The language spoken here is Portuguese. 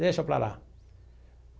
Deixa para lá.